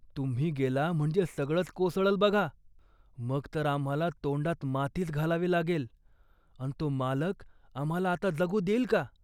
तुम्ही गेला म्हणजे सगळंच कोसळंल बघा. मग तर आम्हाला तोंडात मातीच घालावी लागेल अन् तो मालक आम्हाला आता जगू देईल का